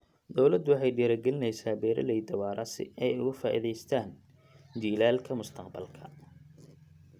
Dawladdu waxay dhiirigelinaysaa beeralayda waara si ay uga faa'iidaystaan ??jiilalka mustaqbalka.